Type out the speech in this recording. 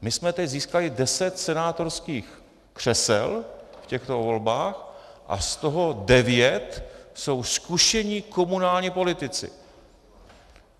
My jsme teď získali deset senátorských křesel v těchto volbách a z toho devět jsou zkušení komunální politici.